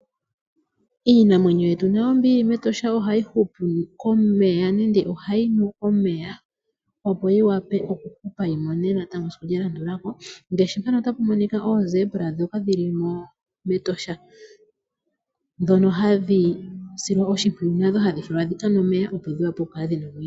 Iinamwenyo yetu nayo mbi yi li mEtosha ohayi hupu komeya nu omeya, opo yi wape natango oku mona esiku lya landula ko ngaashi ngaashi oongolo ndhoka dhi li mEtosha ndhoka hadhi silwa oshimpwiyu, opo dhi kale dhina omwenyo.